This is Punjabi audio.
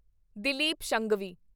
ਦਿਲੀਪ ਸ਼ੰਘਵੀ